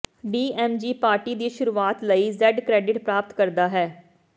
D M G party ਦੀ ਸ਼ੁਰੂਆਤ ਲਈ ਜੈਡ ਕ੍ਰੈਡਿਟ ਪ੍ਰਾਪਤ ਕਰਦਾ ਹੈ